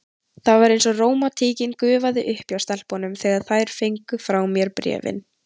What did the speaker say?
Það var eins og rómantíkin gufaði upp hjá stelpunum, þegar þær fengu frá mér bréfin.